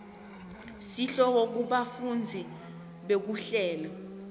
sihloko bufakazi bekuhlela